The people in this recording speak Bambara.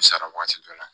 U sara waati dɔ la